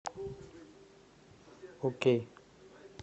окей